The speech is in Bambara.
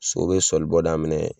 So be sɔlibɔ daminɛ